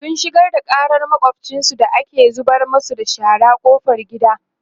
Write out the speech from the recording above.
sun shigar da ƙarar makwafcinsu da ke zubar masu da shara ƙofar gida